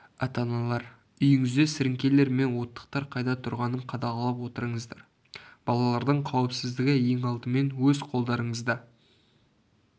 ата-аналар үйіңізде сіріңкелер мен оттықтар қайда тұрғанын қадағалап отырыңыздар балалардың қауіпсіздігі ең алдымен өз қолдарыңызда